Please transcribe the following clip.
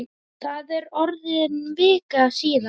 Það er orðin vika síðan.